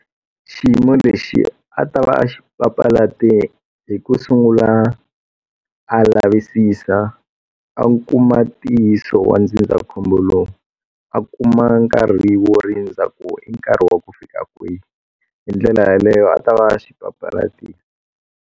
Xiyimo lexi a ta va a papalate hi ku sungula a lavisisa a kuma ntiyiso wa ndzindzakhombo lowu a kuma nkarhi wo rindza ku i nkarhi wa ku fika kwihi hi ndlela yaleyo a ta va xi papalatile.